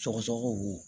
Sɔgɔsɔgɔ bo